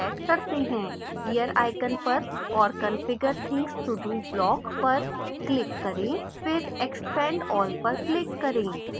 gear icon पर और configure things to do block पर click करें फिर expand all पर click करें